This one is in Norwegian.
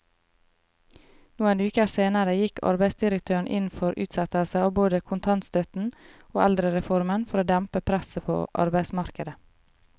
Noen uker senere gikk arbeidsdirektøren inn for utsettelse av både kontantstøtten og eldrereformen for å dempe presset på arbeidsmarkedet.